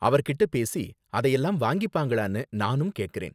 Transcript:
அவர்கிட்ட பேசி அதையெல்லாம் வாங்கிப்பாங்களானு நானும் கேக்கறேன்.